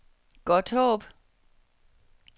Godthåb